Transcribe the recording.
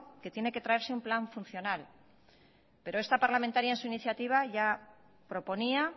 que tiene que traerse un plan funcional pero esta parlamentaria en su iniciativa ya proponía